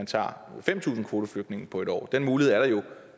tager fem tusind kvoteflygtninge på en år den mulighed er der jo